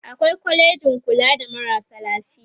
awai kwalejin kula da marasa lafiya